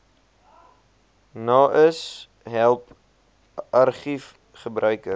naais help argiefgebruikers